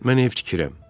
Mən ev tikirəm.